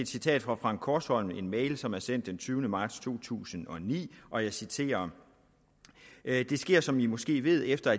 citat fra frank korsholm fra en mail som er sendt den tyvende marts to tusind og ni og jeg citerer det sker som i måske ved efter